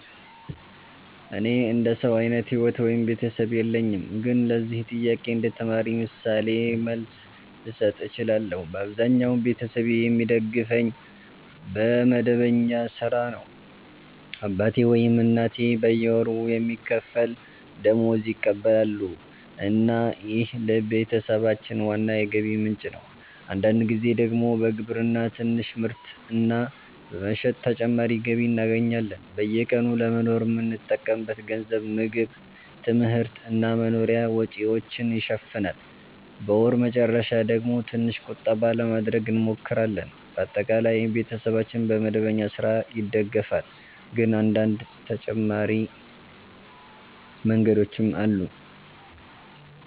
እኔ እንደ ሰው አይነት ሕይወት ወይም ቤተሰብ የለኝም፣ ግን ለዚህ ጥያቄ እንደ ተማሪ ምሳሌ መልስ ልሰጥ እችላለሁ። በአብዛኛው ቤተሰቤ የሚደግፈኝ በመደበኛ ሥራ ነው። አባቴ ወይም እናቴ በየወሩ የሚከፈል ደመወዝ ይቀበላሉ እና ይህ ለቤተሰባችን ዋና የገቢ ምንጭ ነው። አንዳንድ ጊዜ ደግሞ በግብርና ትንሽ ምርት እና በመሸጥ ተጨማሪ ገቢ እናገኛለን። በየቀኑ ለመኖር የምንጠቀምበት ገንዘብ ምግብ፣ ትምህርት እና መኖሪያ ወጪዎችን ይሸፍናል። በወር መጨረሻ ደግሞ ትንሽ ቁጠባ ለማድረግ እንሞክራለን። በአጠቃላይ ቤተሰባችን በመደበኛ ሥራ ይደገፋል፣ ግን አንዳንድ ተጨማሪ መንገዶችም አሉ።